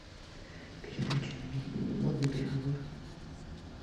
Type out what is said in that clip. передача модный приговор